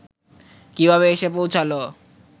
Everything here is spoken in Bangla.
কিভাবে এসে পৌঁছালো